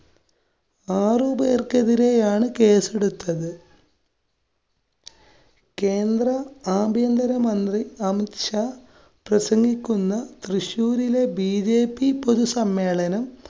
ആറുപേര്‍ക്കെതിരെയാണ് കേസെടുത്തത്. കേന്ദ്ര ആഭ്യന്തര മന്ത്രി അമിത് ഷാ പ്രസംഗിക്കുന്ന തൃശ്ശൂരിലെ BJP പൊതുസമ്മേളനം